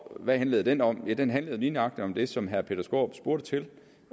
hvad handlede den om ja den handlede lige nøjagtig om det som herre peter skaarup spurgte til